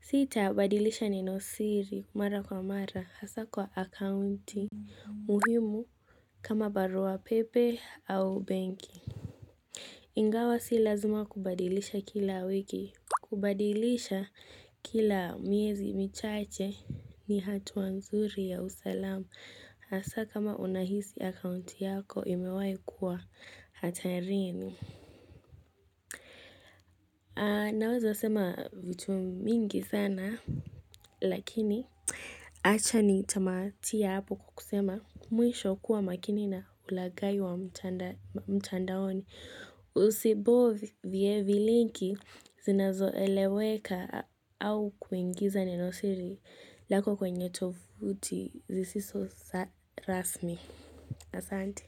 Sita badilisha nenosiri mara kwa mara hasa kwa akaunti muhimu kama baruapepe au benki. Ingawa si lazima kubadilisha kila wiki. Kubadilisha kila miezi michache ni hatua nzuri ya usalamu hasa kama unahisi akaunti yako imewahikua hatarini. Naweza sema vutu mingi sana lakini. Acha ni tamatie hapo kwa kusema mwisho kuwa makini na ulaghai wa mtandaoni. Usibofye vilinki zinazo eleweka au kuingiza nenosiri lako kwenye tovuti zisizo sa rasmi. Asante.